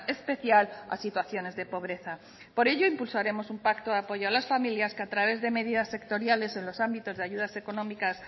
especial a situaciones de pobreza por ello impulsaremos un pacto de apoyo a las familias que a través de medidas sectoriales en los ámbitos de ayudas económicas